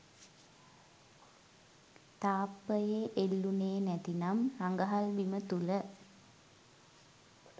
තාප්පයේ එල්ලුණේ නැතිනම් රඟහල් බිම තුළ